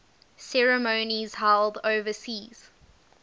ceremonies held overseas